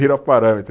Vira parâmetro.